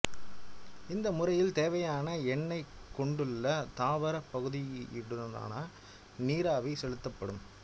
இந்த முறையில் தேவையான எண்ணெயைக் கொண்டுள்ள தாவரப் பகுதிகளினூடாக நீராவி செலுத்தப்படும்